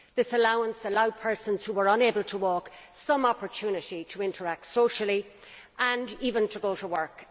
This allowance allowed persons who are unable to walk some opportunity to interact socially and even to go to work.